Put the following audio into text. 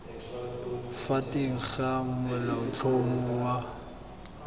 fa teng ga molaotlhomo wa